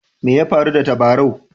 Mai ya faru da tabarau?